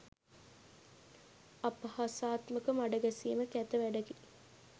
අපහාසාත්මක මඩ ගැසීම කැත වැඩකි